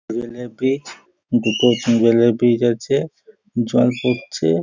Tubal -এর পিচ দুটোই টিউবাল -এর পিচ আছে জল পড়ছে ।